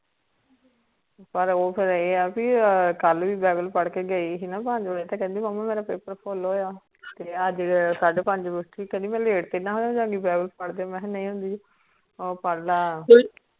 ਪਰ ਓ ਫੇਰ ਏਹ ਆ ਕਲ ਭੀ bible ਪੜ ਕੇ ਗਯੀ ਸੀ ਨਾ ਪੰਜ ਵਜੇ ਕਹਿੰਦੀ ਮੁਮਾ ਮੇਰਾ ਪੇਪਰ ਫੁਲ ਹੋਯਾ ਤੇ ਅੱਜ ਫੇਰ ਸਾਡੇ ਪੰਜ ਬਜੇ ਉਠੀ ਕਹਿੰਦੀ ਮੈਂ late ਤੇ ਨਾ ਹੋ ਜਾ ਗੀ bible ਪੜ ਦੇ ਮੈਂ ਕਿਹਾ ਨਹੀਂ ਹੁੰਦੀ ਓ ਪੁਢਲੇ